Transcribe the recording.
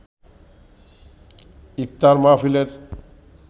ইফতার মাহফিলের